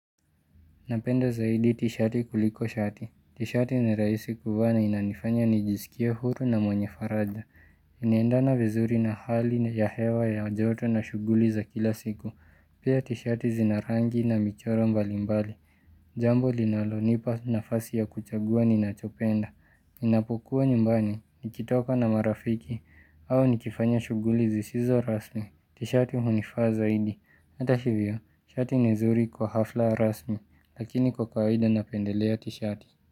Napenda zaidi t-sheti kuliko shati. T-shati ni raisi kuvaa na inanifanya nijisikie huru na mwenye faraja. Iniendana vizuri na hali ya hewa ya joto na shughuli za kila siku. Pia t-shati zinarangi na michoro mbalimbali. Jambo linalonipa nafasi ya kuchagua ninachopenda. Ninapokuwa nyumbani, nikitoka na marafiki, au nikifanya shuguli zisizo rasmi. T-shati hunifaa zaidi. Hata hivyo, shati ni nzuri kwa hafla rasmi, lakini kwa kawaida napendelea t-shati.